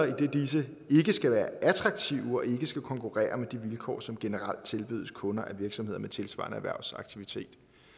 idet disse ikke skal være attraktive og ikke skal konkurrere med de vilkår som generelt tilbydes kunder af virksomheder med tilsvarende erhvervsaktivitet